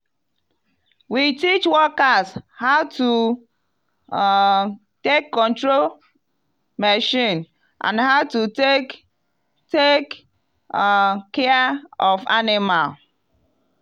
we teach workers how to um take control machine and how to take take um care of animal.